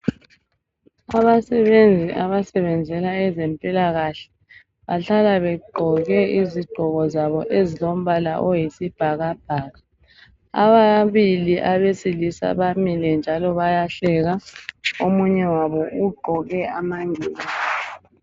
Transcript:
Abasebenzi abasebenzela abezempilakahle, bahlala begqoke izigqoko zabo ezilombala oyisibhakabhaka. Ababili abesilisa bamile njalo bayahleka. Omunye wabo ugqoke amangilazi.